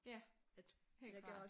Ja helt klart